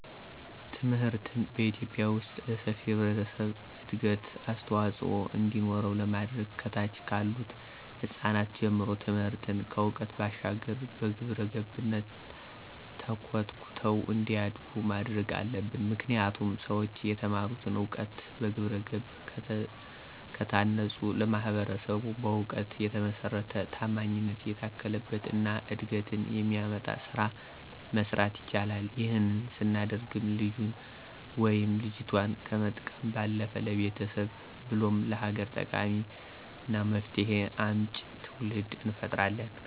ትምህርትን በኢትዮጲያ ዉስጥ ለሰፊው ህብረተሰብ እድገት አስተዋፅዖ እንዲኖረው ለማድረግ ከታች ካሉት ህጻናት ጀምሮ ትምህርትን ከዕውቀት ባሻገር በግብረገብነት ተኮትኩተው እንዲያድጉ ማድረግ አለብን። ምክንያቱም ሠዎች የተማሩትን እውቀት በግብረገብ ከታነፀ ለማህበረሰቡ በእውቀት የተመሰረተ፣ ታማኝነት የታከለበት እና እድገትን የሚያመጣ ስራ መስራት ይችላል። ይህንን ስናደርግም ልጁን ወይም ልጆቷን ከመጥቀም ባለፈ ለቤተሰብ ብሎም ለሀገር ጠቃሚና መፍትሄ አምጪ ትውልድ እንፈጥራለን።